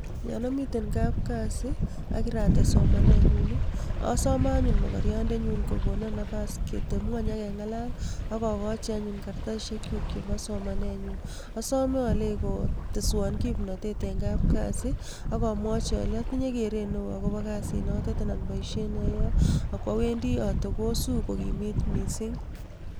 Yon omiten kapkasi oo kirates somanenyun osome anyun mokoriondenyun kokonon nafas keteb ngweny ak keng'alal ak okochi anyun kartasishekyuk chebo somanenyun, asome oleii koteswon kimnotet en kapkasi ak omwochi olei otinye keret neo akobo kasinotet anan boishet ne oyoe ak kwo wendi otokosu ko kimit mising.